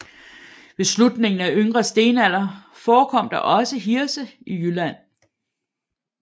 Ved slutningen af yngre stenalder forekom der også hirse i Jylland